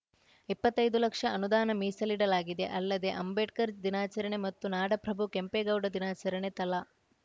ಇಪ್ಪತ್ತೈದು ಲಕ್ಷ ಅನುದಾನ ಮೀಸಲಿಡಲಾಗಿದೆ ಅಲ್ಲದೆ ಅಂಬೇಡ್ಕರ್‌ ದಿನಾಚರಣೆ ಮತ್ತು ನಾಡಪ್ರಭು ಕೆಂಪೇಗೌಡ ದಿನಾಚರಣೆ ತಲಾ